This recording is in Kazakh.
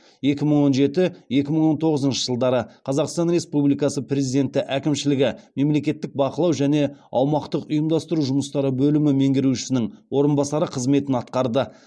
екі мың он жеті екі мың он тоғызыншы жылдары қазақстан республикасы президенті әкімшілігі мемлекеттік бақылау және аумақтық ұйымдастыру жұмыстары бөлімі меңгерушісінің орынбасары қызметін атқарды